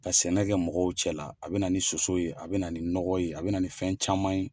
Ka sɛnɛkɛ mɔgɔw cɛ la, a bɛ na ni soso ye , a bɛ na ni nɔgɔ ye, a bɛ na ni fɛn caman ye.